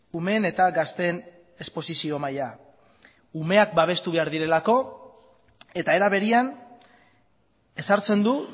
umeen eta gazteen esposizio maila umeak babestu behar direlako eta era berean ezartzen du